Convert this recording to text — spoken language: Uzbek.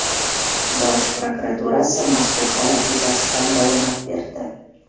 Bosh prokuraturasi mazkur holat yuzasidan bayonot berdi .